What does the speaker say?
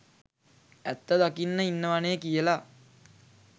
ඇත්ත දකින්න ඉන්නවනේ කියල.